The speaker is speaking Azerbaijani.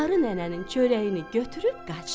Qarı nənənin çörəyini götürüb qaçdı.